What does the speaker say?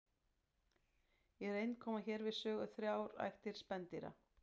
Í reynd koma hér við sögu þrjár ættir spendýra.